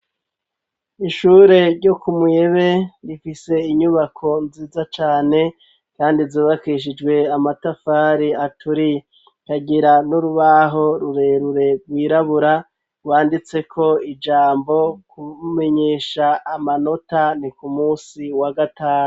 Iishure ryo ku muyebe rifise inyubako nziza cane kandi zubakishijwe amatafari aturi kagira n'urubaho rurerure rwirabura rwanditse ko ijambo kumenyesha amanota ni ku munsi wa gatanu.